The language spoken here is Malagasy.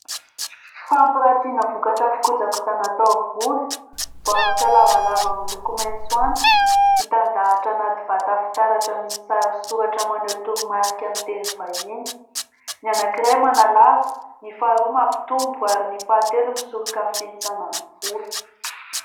Fampiratiana vokatra fikojakojana taovolo. Baoritra lavalava miloko maitso antitra mitandahatra anaty vata fitaratra misy sary sy soratra maneho toromarika amin'ny teny vahiny. Ny anankiray manalava, ny faharoa mampitombo ary ny fahatelo misoroka ny fihintsanan'ny volo.